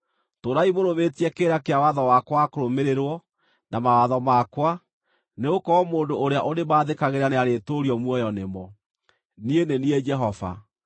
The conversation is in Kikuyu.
Tũũrai mũrũmĩtie kĩrĩra kĩa watho wakwa wa kũrũmĩrĩrwo, na mawatho makwa, nĩgũkorwo mũndũ ũrĩa ũrĩĩmathĩkagĩra nĩarĩtũũrio muoyo nĩmo. Niĩ nĩ niĩ Jehova.